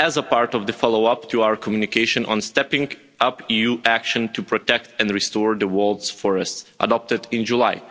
as a part of the follow up to our communication on stepping up EU action to protect and restore the world's forests adopted in July